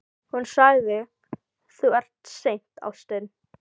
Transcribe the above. Hún sagði: Þú ert seinn, ástin.